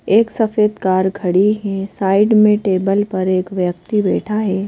एक सफेद कार खड़ी हैं साइड में टेबल पर एक व्यक्ती बैठा है।